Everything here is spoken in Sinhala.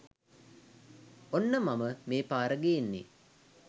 ඔන්න මම මේ පාර ගේන්නේ